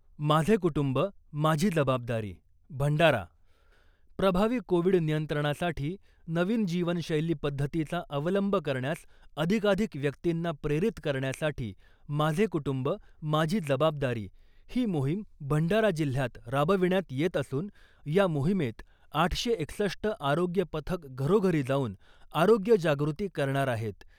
माझे कुटुंब , माझी जबाबदारी, भंडारा. प्रभावी कोविड नियंत्रणासाठी नवीन जीवनशैली पद्धतीचा अवलंब करण्यास अधिकाधिक व्यक्तींना प्रेरित करण्यासाठी ' माझे कुटुंब , माझी जबाबदारी ' ही मोहिम भंडारा जिल्हयात राबविण्यात येत असून , या मोहिमेत आठशे एकसष्ट आरोग्य पथक घरोघरी जाऊन आरोग्य जागृती करणार आहेत .